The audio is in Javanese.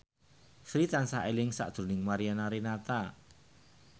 Sri tansah eling sakjroning Mariana Renata